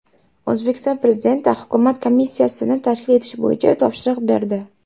O‘zbekiston Prezidenti hukumat komissiyasini tashkil etish bo‘yicha topshiriq berdi.